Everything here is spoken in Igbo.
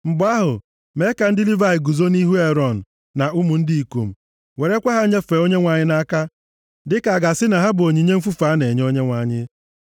Mgbe ahụ, mee ka ndị Livayị guzo nʼihu Erọn na ụmụ ndị ikom, werekwa ha nyefee Onyenwe anyị nʼaka dịka a ga-asị na ha bụ onyinye mfufe a na-enye Onyenwe anyị.